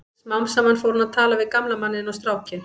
Smám saman fór hún að tala við gamla manninn og strákinn.